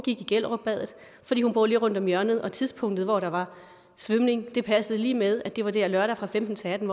i gellerupbadet fordi hun bor lige rundt om hjørnet og tidspunktet hvor der var svømning passede lige med at det var der lørdag fra femten til atten